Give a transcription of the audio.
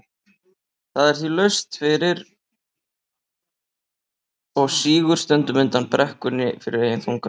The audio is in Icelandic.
Það er því laust fyrir og sígur stundum undan brekkunni fyrir eigin þunga.